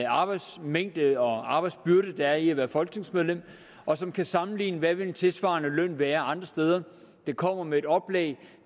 arbejdsmængde og arbejdsbyrde der er i at være folketingsmedlemmer og som kan sammenligne hvad en tilsvarende løn ville være andre steder der kommer med et oplæg